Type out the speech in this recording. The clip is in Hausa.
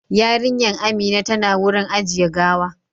Yarinyan Amina tana wurin ajiye gawa